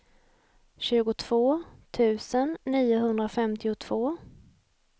tjugotvå tusen niohundrafemtiotvå